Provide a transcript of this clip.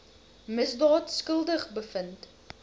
misdaad skuldig bevind